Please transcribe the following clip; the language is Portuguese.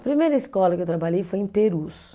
A primeira escola que eu trabalhei foi em Perus.